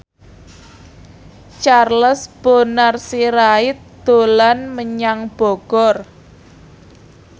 Charles Bonar Sirait dolan menyang Bogor